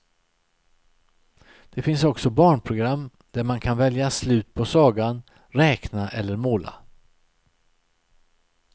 Det finns också barnprogram där man kan välja slut på sagan, räkna eller måla.